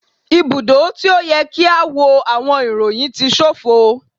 Ibudo ti o yẹ ki a wo awọn iroyin ti ṣofo